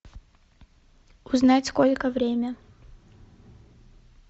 узнать сколько время